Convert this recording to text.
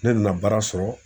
Ne nana baara sɔrɔ.